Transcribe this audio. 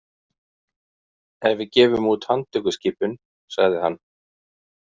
Ef við gefum út handtökuskipun, sagði hann.